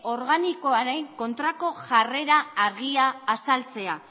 organikoaren kontrako jarrera argia azaltzea